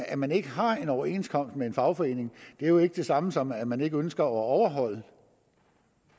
at man ikke har en overenskomst med en fagforening er jo ikke det samme som at man ikke ønsker at overholde